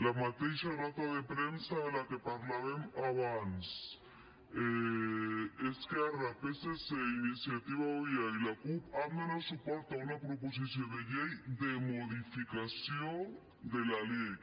la mateixa nota de premsa de què parlàvem abans esquerra psc iniciativa euia i la cup han donat suport a una proposició de llei de modificació de la lec